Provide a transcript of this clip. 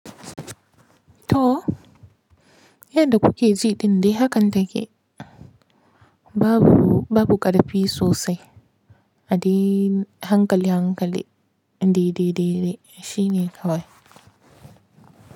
To, yadda kuke ji dinde hakan take. Babu, babu ƙarfi sosai. A de hankali, hankali. De, de, de, Shi ne kawai.